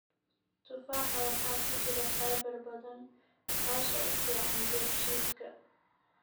Tufaaxa waxaa ku jira fiber badan, taas oo u fiican dheefshiidka.